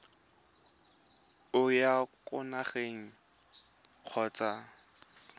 o ya kwa nageng kgotsa